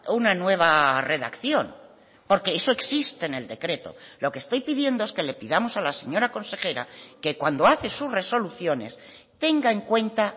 una nueva redacción porque eso existe en el decreto lo que estoy pidiendo es que le pidamos a la señora consejera que cuando hace sus resoluciones tenga en cuenta